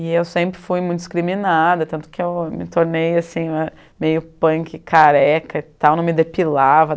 E eu sempre fui muito discriminada, tanto que eu me tornei assim, meio punk careca e tal, não me depilava.